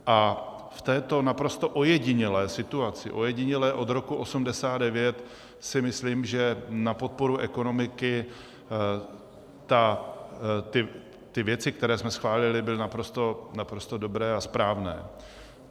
A v této naprosto ojedinělé situaci, ojedinělé od roku 1989, si myslím, že na podporu ekonomiky ty věci, které jsme schválili, byly naprosto dobré a správné.